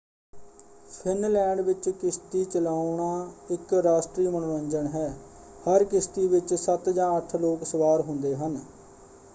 Finland ਵਿੱਚ ਕਿਸ਼ਤੀ ਚਲਾਉਣਾ ਇੱਕ ਰਾਸ਼ਟਰੀ ਮਨੋਰੰਜਨ ਹੈ ਹਰ ਕਿਸ਼ਤੀ ਵਿੱਚ ਸੱਤ ਜਾਂ ਅੱਠ ਲੋਕ ਸਵਾਰ ਹੁੰਦੇ ਹਨ।